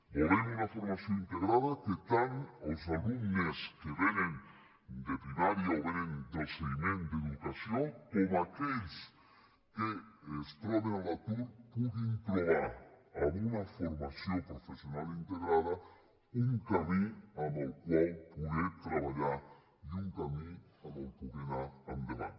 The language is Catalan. volem una formació integrada en què tant els alumnes que vénen de primària o vénen del seguiment d’educació com aquells que es troben a l’atur puguin trobar en una formació professional integrada un camí amb el qual poder treballar i un camí amb el qual poder anar endavant